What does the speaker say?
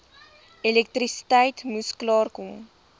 elektrisiteit moes klaarkom